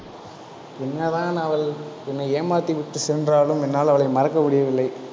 என்னதான் அவள், என்னை ஏமாத்தி விட்டு சென்றாலும், என்னால் அவளை மறக்க முடியவில்லை